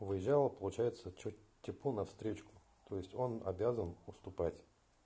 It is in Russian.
взял получается чуть типу на встречку то есть он обязан уступать